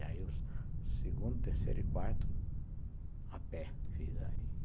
Aí os segundo, terceiro e quarto, aperto